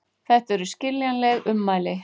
Þetta eru skiljanleg ummæli